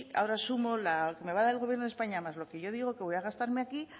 ahora sumo lo que me va a dar el gobierno de españa más lo que yo digo que voy a gastarme aquí